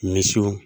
Misiw